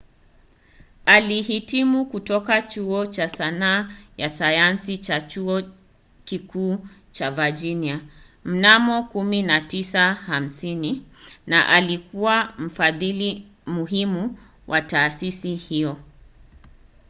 alihitimu kutoka chuo cha sanaa na sayansi cha chuo kikuu cha virginia mnamo 1950 na alikuwa mfadhili muhimu wa taasisi hiyo